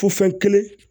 Fo fɛn kelen